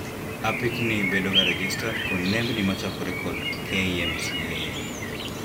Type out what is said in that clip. Apikni bedoga rejestad kod nembni machakore kod KMCA